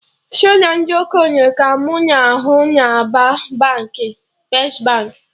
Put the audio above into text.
Sọ ndị okenye ka mụ na ahụ na-aba first Baankị